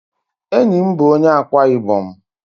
Enyi m bụ onye Ákwá-Ibom.